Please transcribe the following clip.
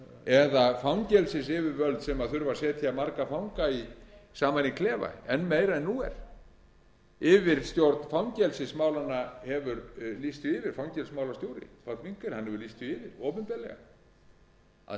eða fangelsisyfirvöld sem þurfa að setja marga fanga saman í klefa enn meira en nú er yfirstjórn fangelsismálanna hefur lýst því yfir fangelsismálastjóri páll winkel hefur lýst því yfir opinberlega að